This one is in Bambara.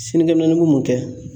Sinikɛ minɛni bi mun kɛ